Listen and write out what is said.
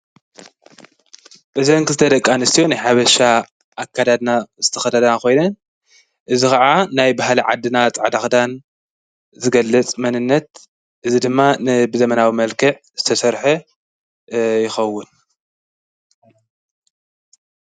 ብዘንኪ ዝተደቃ ንስቲዮ ይሓበሻ ኣካዳድና ዝተኸዳዳና ኾይነን እዝ ኸዓ ናይ ብሃለ ዓድና ፃዕዳኽዳን ዝገለጽ መንነት እዝ ድማ ንብዘመናዊ መልክዕ ዝተሠርሐ ይኸውን።